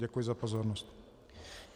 Děkuji za pozornost.